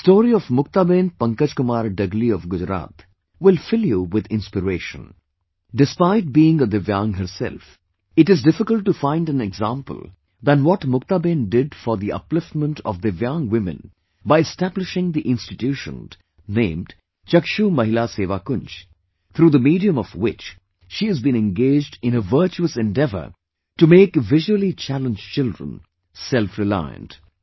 The story of MuktabenPankajkumarDagali of Gujarat will fill you with inspiration despite being a divyang herself, it is difficult to find an example than what Muktaben did for the upliftment of divyang women by establishing the institution named ChakshuMahilaSevakunj, through the medium of which she has been engaged in a virtuousendeavour to make visually challenged children selfreliant